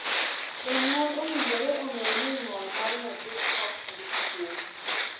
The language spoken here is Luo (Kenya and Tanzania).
Jonyuol owinjore ong'ee ni ng'ol mar nyathi ok en kuong'.